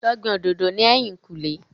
Lọ gbin òdòdó ní èyìn kù lé